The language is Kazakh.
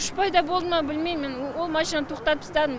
күш пайда болды ма білмеймін ол машинаны тоқтатыпстадым